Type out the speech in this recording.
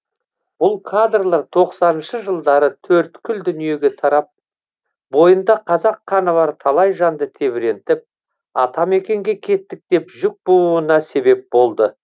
бұл кадрлар тоқсаныншы жылдары төрткүл дүниеге тарап бойында қазақ қаны бар талай жанды тебірентіп атамекенге кеттік деп жүк бууына себеп болды